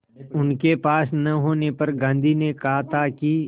उनके पास न होने पर गांधी ने कहा था कि